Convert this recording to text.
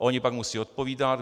A oni pak musí odpovídat.